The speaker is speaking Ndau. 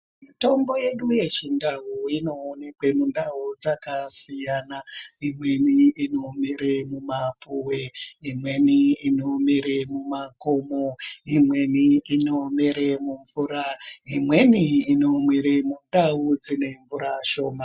Mitombo yedu yechindau inoonekwa mundau dzakasiyana imweni inomere mumapuwe imweni inomere mumakomo imweni inomere mumvura imweni inomere mundau dzine mvura shoma.